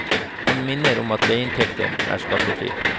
Han minner om at leieinntekten er skattefri.